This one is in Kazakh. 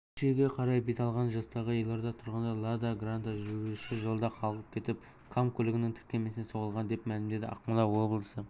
щучьеге қарай бет алған жастағы елорда тұрғыны лада гранта жүргізушісі жолда қалғып кетіп кам көлігінің тіркемесіне соғылған деп мәлімдеді ақмола облысы